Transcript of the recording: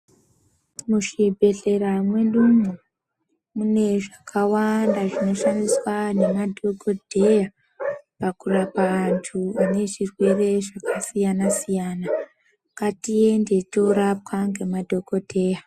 Muzvibhedhleya medu umu mune zvakawanda zvinoshandiswa ngemadhokodheya pakurapa anthu ane zvirwere zvakasiyana siyana ngatiende toorapwa ngemadhokodheya.